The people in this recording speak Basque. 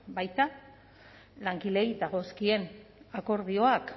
baita langileei dagozkien akordioak